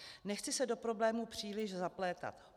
Nechci se do problému příliš zaplétat.